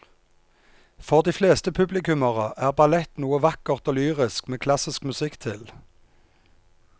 For de fleste publikummere er ballett noe vakkert og lyrisk med klassisk musikk til.